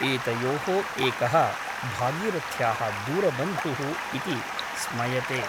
एतयोः एकः भागीरथ्याः दूरबन्धुः इति स्मयते ।